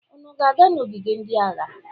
Unu na-aga n'ogige ndị agha?